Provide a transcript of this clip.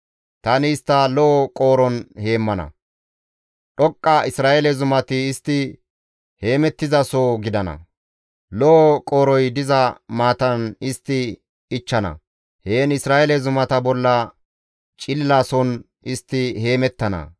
Tani istta lo7o qooron heemmana; dhoqqa Isra7eele zumati istti heemettizasoho gidana; lo7o qooroy diza maatan istti ichchana; heen Isra7eele zumata bolla cililason istti heemettana.